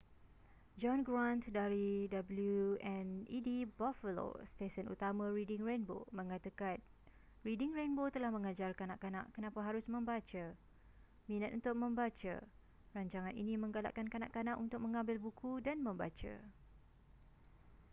john grant dari wned buffalo stesen utama reading rainbow mengatakan reading rainbow telah mengajar kanak-kanak kenapa harus membaca,... minat untuk membaca - [rancangan ini] menggalakkan kanak-kanak untuk mengambil buku dan membaca.